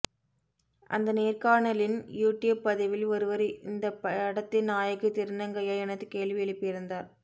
அந்த நேர்கணாலின் யூடியூப் பதிவில் ஒருவர் இந்த படத்தின் நாயகி திருநங்கையா என கேள்வி எழுப்பிருந்தார்